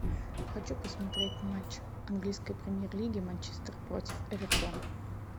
хочу посмотреть матч английской премьер лиги манчестер против эвертона